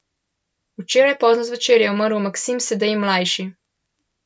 Včeraj pozno zvečer je umrl Maksim Sedej ml.